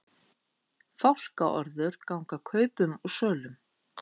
Fálkaorður ganga kaupum og sölum